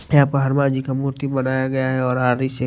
यहां पर हनुमान जी का मूर्ति बनाया गया है और--